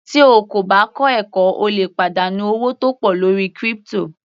Tí o kò bá kọ́ ẹ̀kọ́ o lè pàdánù owó tó pọ̀ lórí crypto.